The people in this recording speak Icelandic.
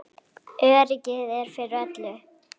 Öryggið er fyrir öllu.